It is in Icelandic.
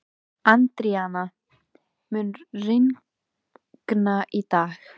Adríana, mun rigna í dag?